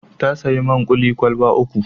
Ta sayi man kuli kwalaba uku.